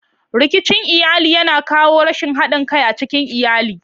Rikicin iyali yana kawo rashin haɗin kai a cikin iyali.